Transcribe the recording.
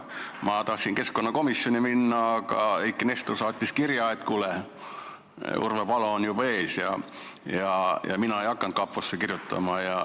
Ma tahtsin keskkonnakomisjoni minna, aga Eiki Nestor saatis kirja, et kuule, Urve Palo on juba ees, ja mina ei hakanud kaposse kirjutama.